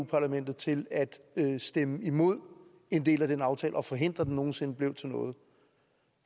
parlamentet til at stemme imod en del af den aftale og forhindre at den nogen sinde bliver til noget